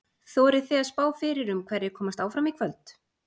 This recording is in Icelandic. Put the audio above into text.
Þorið þið að spá fyrir um hverjir komast áfram í kvöld?